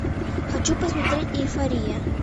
хочу посмотреть эйфория